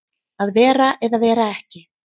Að vera eða vera ekki